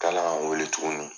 wele tuguni.